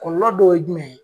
Kɔlɔlɔ dɔw ye jumɛn ye